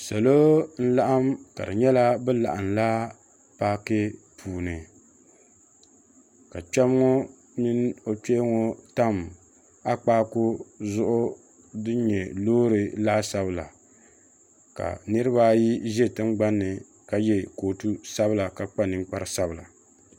Salo n-laɣim ka di nyɛla bɛ laɣimla paaki puuni ka kpɛma ŋɔ mini o kpee ŋɔ tam akpaagu zuɣu din nyɛ loori laasabu la ka niriba ʒe tingbani ni ka ye kootu sabila ka kpa ninkpara sabila.